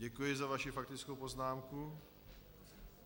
Děkuji za vaši faktickou poznámku.